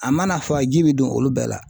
A mana fa ji bɛ don olu bɛɛ la.